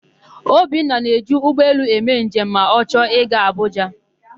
Obinna na-eji ụgbọelu eme njem ma ọ chọọ ị gaa Abụja.